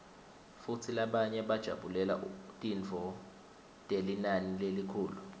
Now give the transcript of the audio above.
futsi labanye bajabulela tintfo telinani lelikhulu